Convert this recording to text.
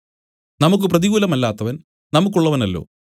നമുക്കു പ്രതികൂലമല്ലാത്തവൻ നമുക്കുള്ളവനല്ലോ